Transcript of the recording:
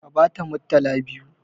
Ka bata murtala biyu!